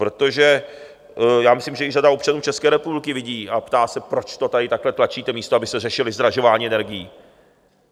Protože já myslím, že již řada občanů České republiky vidí a ptá se: proč to tady takhle tlačíte, místo abyste řešili zdražování energií?